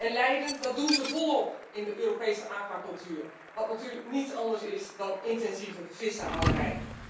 En lijden, dat doen ze volop in de Europese aquacultuur, wat natuurlijk niets anders is dan intensieve vissenhouderij.